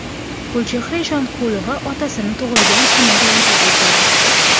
Gulchehra Eshonqulova otasini tug‘ilgan kuni bilan tabrikladi.